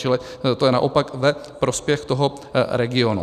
Čili to je naopak ve prospěch toho regionu.